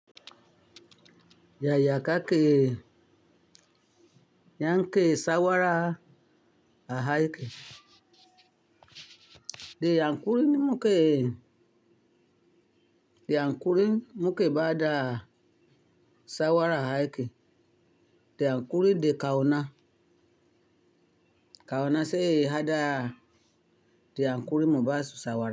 Yaya ka ke yan ke shawara a aiki? Da haƙuri muke, da haƙuri muke ba da shawara a aiki. De haƙuri da ƙauna, ƙauna sai mu haɗa da haƙuri mu ba su shawara.